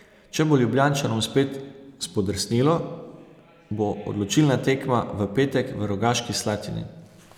Če bo Ljubljančanom spet spodrsnilo, bo odločilna tekma v petek v Rogaški Slatini.